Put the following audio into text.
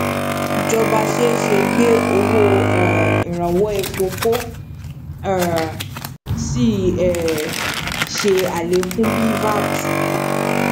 ìjọba ṣeéṣe gbé owó um iranwọ èpo ko um sí um ṣe alekun bí vat